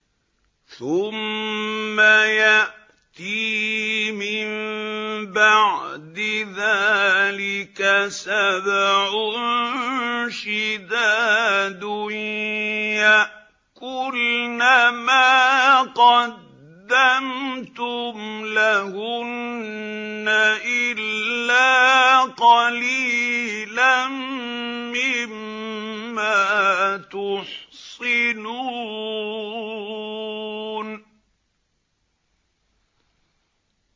ثُمَّ يَأْتِي مِن بَعْدِ ذَٰلِكَ سَبْعٌ شِدَادٌ يَأْكُلْنَ مَا قَدَّمْتُمْ لَهُنَّ إِلَّا قَلِيلًا مِّمَّا تُحْصِنُونَ